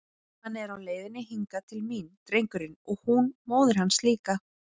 Hann er á leiðinni hingað til mín, drengurinn, og hún móðir hans líka!